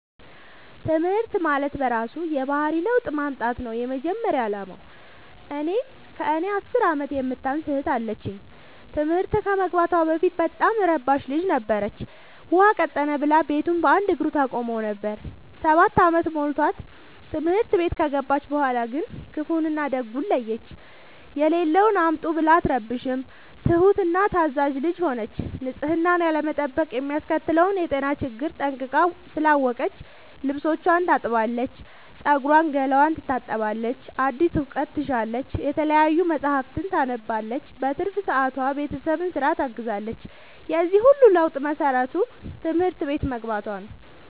ትምህርት ማለት በእራሱ የባህሪ ለውጥ ማምጣት ነው የመጀመሪያ አላማው። እኔ ከእኔ አስር አመት የምታንስ እህት አለችኝ ትምህርት ከመግባቷ በፊት በጣም እረባሽ ልጅ ነበረች። ውሃ ቀጠነ ብላ ቤቱን በአንድ እግሩ ታቆመው ነበር። ሰባት አመት ሞልቶት ትምህርት ቤት ከገባች በኋላ ግን ክፋውን እና ደጉን ለየች። የሌለውን አምጡ ብላ አትረብሽም ትሁት እና ታዛዣ ልጅ ሆነች ንፅህናን ያለመጠበቅ የሚያስከትለውን የጤና ችግር ጠንቅቃ ስላወቀች ልብስቿን ታጥባለች ፀጉሯን ገላዋን ትታጠባለች አዲስ እውቀት ትሻለች የተለያዩ መፀሀፍትን ታነባለች በትርፍ ሰዓቷ ቤተሰብን ስራ ታግዛለች የዚህ ሁሉ ለውጥ መሰረቱ ትምህርት ቤት መግባቶ ነው።